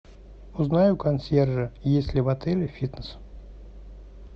узнай у консьержа есть ли в отеле фитнес